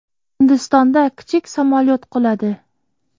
Hindistonda kichik samolyot quladi.